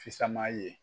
Fisama ye